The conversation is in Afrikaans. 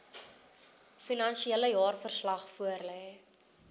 finansiële jaarverslag voorlê